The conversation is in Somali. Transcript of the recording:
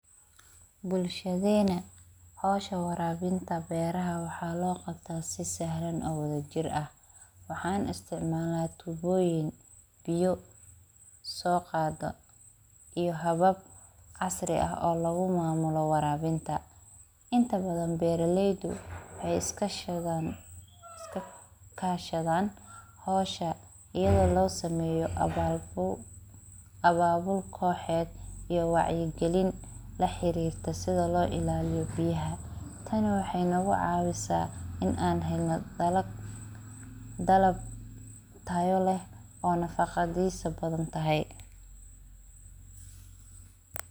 Bulshadena howshan warawinta beraha waxa loo qabta si sahlan oo wadajir ah. Waxan istic malna tuboyin biyo so qadaa iyo habab casri ah oo lagu mamulo warabinta. Inta badan beraleydu waxay iska kashadan howsha iyado lo sameyo ababo koxed iyo wacyi gelin la xirirta sidha loo ilaliya biyaha. Tani waxey cawisa dalab tayo leh oo nafaqadisu badan tahay.